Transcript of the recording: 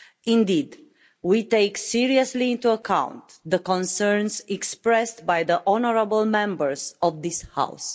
Indeed, we take seriously into account the concerns expressed by the honourable Members of this House.